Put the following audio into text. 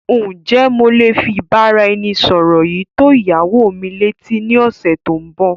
Ǹ jẹ́ mo lé fi ìbáraẹnisọọ̀rọ̀ yìí tó ìyàwó mi lé etí ni ọ̀sẹ̀ tòun bọ́.